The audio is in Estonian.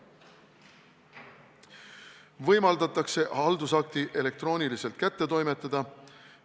Samuti võimaldatakse haldusakt elektrooniliselt kätte toimetada.